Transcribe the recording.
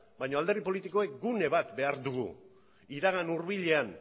baina alderdi politikoek gune bat behar dugu iragan hurbilean